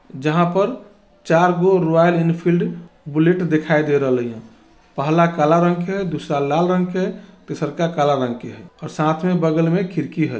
जहाँ पर चारगो रॉयल एनफील्ड बुलेट दिखाई दे रहले ह पहला काला रंग के दूसरा लाल रंग के तीसरका काला रंग के हई और साथ में बगल में खिड़की हई।